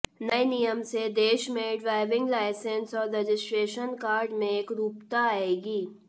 नए नियम से देश में ड्राइविंग लाइसेंस और रजिस्ट्रेशन कार्ड में एकरूपता आएगी